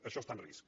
això està en risc